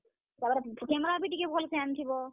ତାର୍ ପରେ camera ବି ଟିକେ ଭଲ୍ ସେ ଆନିଥିବ।